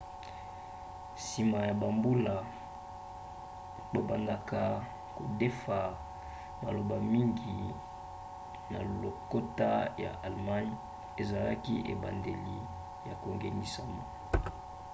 nsima ya bambula babandaka kodefa maloba mingi na lokota ya allemagne. ezalaki ebandeli ya kongengisama